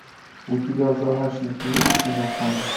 у тебя в загашнике есть кино фан